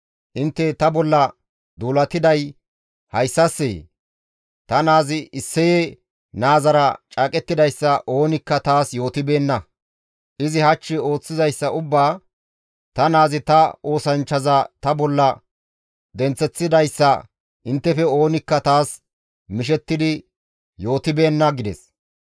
Intte ta bolla duulatiday hayssassee? Ta naazi Isseye naazara caaqettidayssa oonikka taas yootibeenna; izi hach ooththizayssa ubbaa, ta naazi ta oosanchchaza ta bolla denththeththidayssa inttefe oonikka taas mishettidi yootibeenna» gides.